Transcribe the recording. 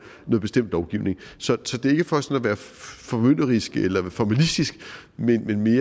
en bestemt lovgivning så det er ikke for sådan at være formynderisk eller formalistisk men mere